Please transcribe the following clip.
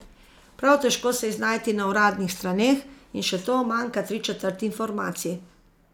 Prav težko se je znajti na uradnih straneh, in še to manjka tri četrt informacij.